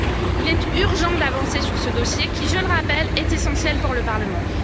Il est urgent d'avancer sur ce dossier qui, je le rappelle, est essentiel pour le Parlement.